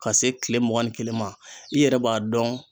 Ka se kile mugan ni kelen ma i yɛrɛ b'a dɔn